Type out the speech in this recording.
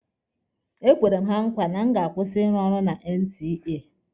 Ekwere m ha nkwa na a ma-akwụsị ịrụ ọrụ na NTA.